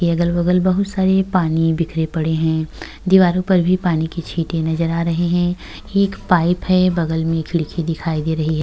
ये अगल-बगल बहुत सारे पानी बिखरे पड़े हैं। दीवारों पर भी पानी के छींटे नजर आ रहे हैं। ये एक पाइप है। बगल में खिड़की दिखाई दे रही है।